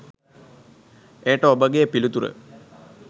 එයට ඔබගේ පිළිතුර